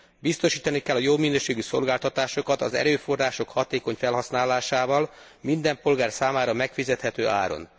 Biztosítani kell a jó minőségű szolgáltatásokat az erőforrások hatékony felhasználásával, minden polgár számára megfizethető áron.